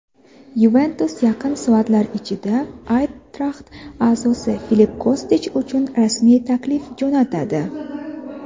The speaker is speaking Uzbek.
"Yuventus" yaqin soatlar ichida "Ayntraxt" a’zosi Filipp Kostich uchun rasmiy taklif jo‘natadi.